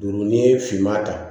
Dugu ni finma ta